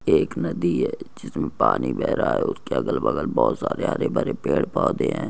एक नदी है जिसमे पानी बह रहा है उसके अगल बगल बोहोत सारे हरे भरे पेड़ पौधे है।